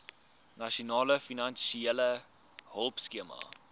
nasionale finansiële hulpskema